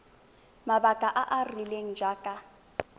mabaka a a rileng jaaka